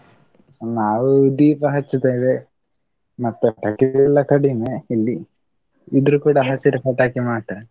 ನಾವು ದೀಪ ಹಚ್ಚುತೇವೆ, ಮತ್ತೆ ಪಟಾಕಿಗಳೆಲ್ಲ ಕಡಿಮೆ ಇಲ್ಲಿ, ಇದ್ರೆ ಕೂಡ ಹಸಿರು ಪಟಾಕಿ ಮಾತ್ರ.